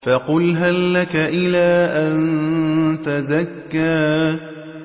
فَقُلْ هَل لَّكَ إِلَىٰ أَن تَزَكَّىٰ